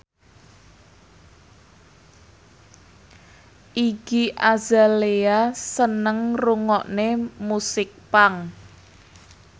Iggy Azalea seneng ngrungokne musik punk